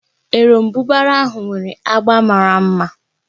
Erombubara ahụ nwere agba mara mma